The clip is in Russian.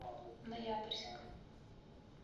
ноябрьск